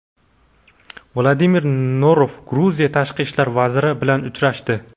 Vladimir Norov Gruziya tashqi ishlar vaziri bilan uchrashdi.